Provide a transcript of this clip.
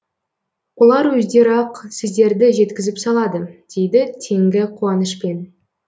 олар өздері ақ сіздерді жеткізіп салады дейді теңгі қуанышпен